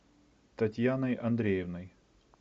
татьяной андреевной